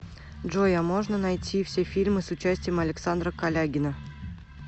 джой а можно найти все фильмы с участием александра калягина